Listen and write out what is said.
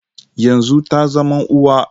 Yanzu ta zama uwa.